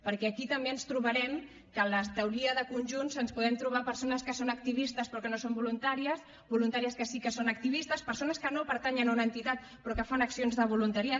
perquè aquí també ens trobarem que a la teoria de conjunts ens podem trobar persones que són activistes però que no són voluntàries voluntàries que sí que són activistes persones que no pertanyen a una entitat però que fan accions de voluntariat